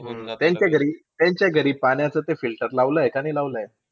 त्यांच्या घरी त्यांच्या घरी पाण्याचं ते filter लावलंय का नाही लावलंय?